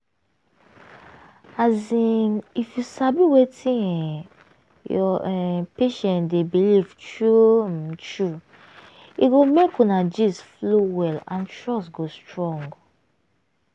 as in if you sabi wetin um your um patient dey believe true um true e go make una gist flow well and trust go strong.